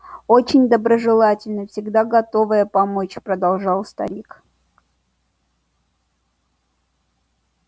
очень доброжелательная всегда готовая помочь продолжал старик